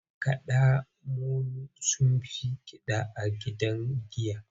Makada molo sun fi Kida a gidajen giya.